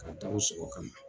K'a da o sogo kan.